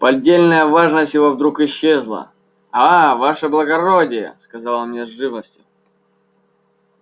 поддельная важность его вдруг исчезла а ваше благородие сказал он мне с живостью